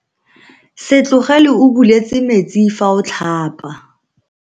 Se tlogele o buletse metsi fa o tlhapa.